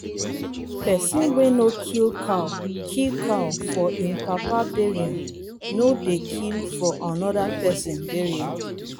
pesin wey no kill cow kill cow for im papa burial no dey kill for another pesin burial.